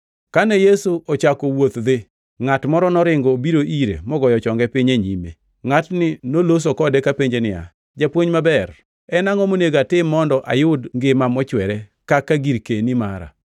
Kane Yesu ochako wuoth dhi, ngʼat moro noringo obiro ire mogoyo chonge piny e nyime. Ngʼatni noloso kode kapenje niya, “Japuonj maber, en angʼo monego atim mondo eka ayud ngima mochwere kaka girkeni mara?”